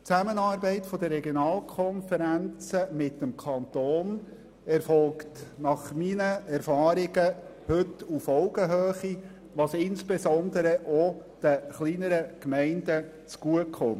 Die Zusammenarbeit der Regionalkonferenzen mit dem Kanton erfolgt nach meinen Erfahrungen heute auf Augenhöhe, was insbesondere auch den kleineren Gemeinden zugutekommt.